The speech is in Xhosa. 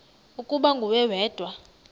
ukuba nguwe wedwa